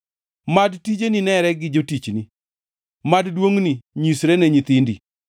Mad tijeni nere gi jotichni, mad duongʼni nyisre ne nyithindi.